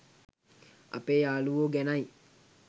අපේ යාළුවෝ ගැනයි